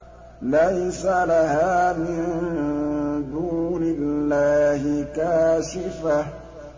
لَيْسَ لَهَا مِن دُونِ اللَّهِ كَاشِفَةٌ